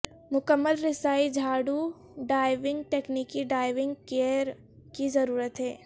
مکمل رسائی جھاڑو ڈائیونگ تکنیکی ڈائیونگ گیئر کی ضرورت ہے